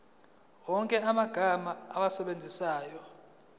wonke amagama owasebenzisayo